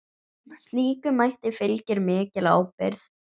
Slíkum mætti fylgir mikil ábyrgð.